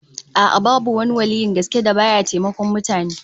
A'a, babu wani waliyyin gaske da ba ya taimakon mutane